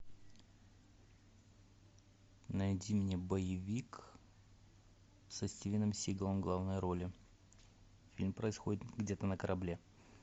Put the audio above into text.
найди мне боевик со стивеном сигалом в главной роли фильм происходит где то на корабле